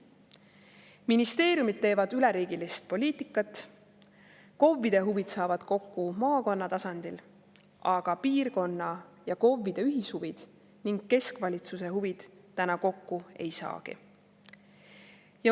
Ministeeriumid teevad üleriigilist poliitikat, KOV-ide huvid saavad kokku maakonna tasandil, aga piirkonna ja KOV-ide ühishuvid ning keskvalitsuse huvid täna kokku ei saagi.